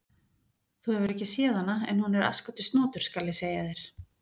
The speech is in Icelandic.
Þú hefur ekki séð hana, en hún er asskoti snotur, skal ég segja þér.